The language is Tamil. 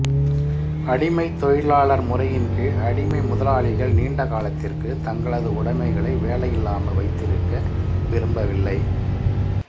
அடிமைதொழிலாளர் முறையின் கீழ் அடிமைமுதலாளிகள் நீண்ட காலத்திற்கு தங்களது உடைமைகளை வேலையில்லாமல் வைத்திருக்க விரும்பவில்லை